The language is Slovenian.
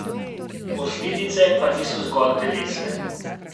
Posledice pa niso zgolj telesne.